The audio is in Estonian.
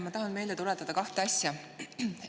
Ma tahan meelde tuletada kahte asja.